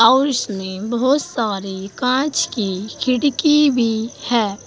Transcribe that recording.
House में बहुत सारे कांच की खिड़की भी है।